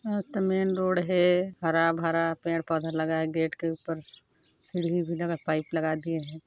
मस्त main road है हरा भरा पेड़ पौधा लगा है गेट के ऊपर सीढी़ भी लगा है पाइप लगा दिए हैं।